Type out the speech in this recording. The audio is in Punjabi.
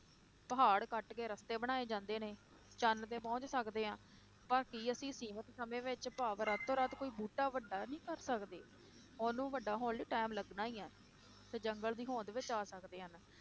ਪਹਾੜ ਕੱਟ ਕੇ ਰਸਤੇ ਬਣਾਏ ਜਾਂਦੇ ਨੇ, ਚੰਦ ਤੇ ਪਹੁੰਚ ਸਕਦੇ ਹਾਂ, ਪਰ ਕੀ ਅਸੀਂ ਸੀਮਿਤ ਸਮੇਂ ਵਿੱਚ ਭਾਵ ਰਾਤੋ ਰਾਤ ਕੋਈ ਬੂਟਾ ਵੱਡਾ ਨੀ ਕਰ ਸਕਦੇ, ਉਹਨੂੰ ਵੱਡਾ ਹੋਣ ਲਈ time ਲੱਗਣਾ ਹੀ ਹੈ, ਤੇ ਜੰਗਲ ਦੀ ਹੋਂਦ ਬਚਾ ਸਕਦੇ ਹਨ,